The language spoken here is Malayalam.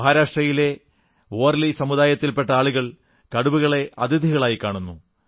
മഹാരാഷ്ട്രയിലെ വാർലീ സമുദായത്തിൽ പെട്ട ആളുകൾ കടുവകളെ അതിഥികളായി കാണുന്നു